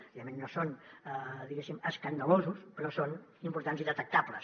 evidentment no són diguéssim escandalosos però són importants i detectables